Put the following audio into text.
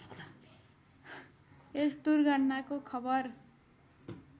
यस दुर्घटनाको खबर